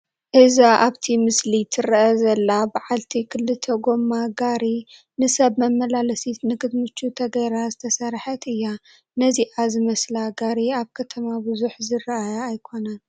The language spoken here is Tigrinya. እዛ ኣብቲ ምስሊ ትርአ ዘላ በዓልቲ ክልተ ጐማ ጋሪ ንሰብ መመላለሲት ንክትምቹ ተገይራ ዝተሰርሐት እያ፡፡ ነዚኣ ዝመስላ ጋሪ ኣብ ከተማ ብዙሕ ዝርአያ ኣይኮናን፡፡